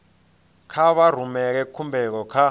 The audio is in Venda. kha vha rumele khumbelo kha